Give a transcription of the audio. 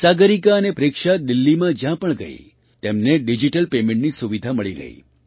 સાગરિકા અને પ્રેક્ષા દિલ્લીમાં જ્યાં પણ ગઈ તેમને ડિજિટલ પેમેન્ટની સુવિધા મળી ગઈ